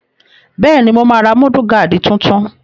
Bẹ́ẹ̀ni, mo máa ra múdúgáàdì tuntun